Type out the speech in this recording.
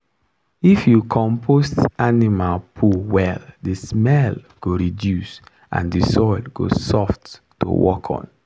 if you compost animal poo well the smell go reduce and the soil go soft to work on.